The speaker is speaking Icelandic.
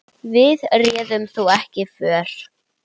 Við réðum þó ekki för.